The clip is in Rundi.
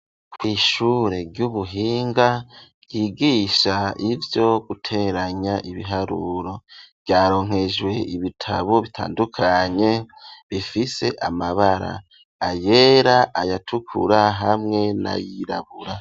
Kw'ishure ry'ubuhinga ry'igisha ivyo guteranya ibiharuro vyaronkejwe ibitabo bitandukanye bifise amabara ayera ayatukura hamwe na yirabura.